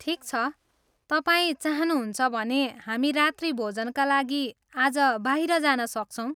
ठिक छ, तपाईँ चाहनुहुन्छ भने, हामी रात्रिभोजनका लागि आज बाहिर जान सक्छौँ।